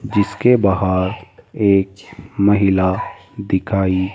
जिसके बाहर एक महिला दिखाई--